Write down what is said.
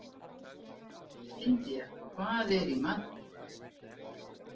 Indía, hvað er í matinn?